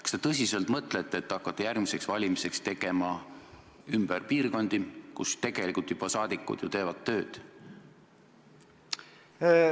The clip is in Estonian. Kas te mõtlete tõsiselt, et hakkate järgmiseks valimiseks tegema ümber piirkondi, kus saadikud ju teevad juba tööd?